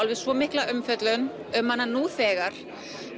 svo mikla umfjöllun um hana nú þegar